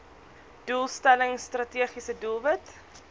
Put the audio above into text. doelstelling strategiese doelwit